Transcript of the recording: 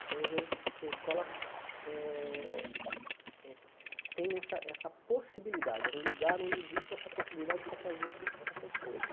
Então eu vejo que que a escola eh eh tem essa essa possibilidade, é um lugar onde existe essa possibilidade para fazer essa essas coisas.